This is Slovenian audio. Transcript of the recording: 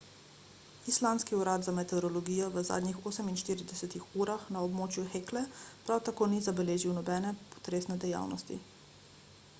islandski urad za meteorologijo v zadnjih 48 urah na območju hekle prav tako ni zabeležil nobene potresne dejavnosti